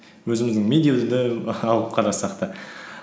өзіміздің медеу ді алып қарасақ та